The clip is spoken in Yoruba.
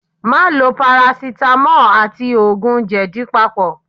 Má lo parasitamọ́ọ̀ àti òògùn jèdí papọ̀.